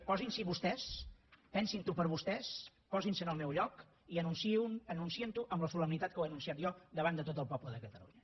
posin s’hi vostès pensin ho per vostès posin se en el meu lloc i anunciïn ho amb la solemnitat que ho he anunciat jo davant de tot el poble de catalunya